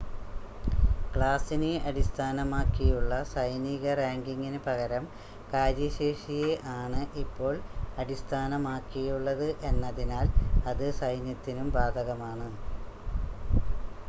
ക്ലാസിനെ അടിസ്ഥാനമാക്കിയുള്ള സൈനിക റാങ്കിംഗിന് പകരം കാര്യശേഷിയെ ആണ് ഇപ്പോൾ അടിസ്ഥാനമാക്കിയുള്ളത് എന്നതിനാൽ അത് സൈന്യത്തിനും ബാധകമാണ്